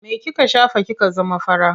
Me kika shafa kika zama fara?